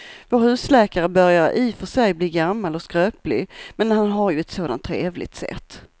Vår husläkare börjar i och för sig bli gammal och skröplig, men han har ju ett sådant trevligt sätt!